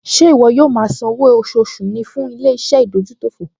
Ṣé ìwọ yóò máa san owó oṣooṣù ní fún ilé-iṣẹ́ ìdójútòfò?